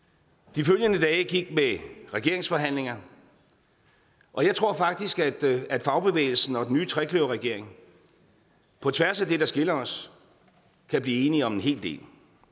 de følgende dage gik med regeringsforhandlinger og jeg tror faktisk at fagbevægelsen og den nye trekløverregering på tværs af det der skiller os kan blive enige om en hel del